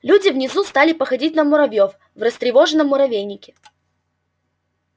люди внизу стали походить на муравьёв в растревоженном муравейнике